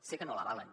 sé que no l’avalen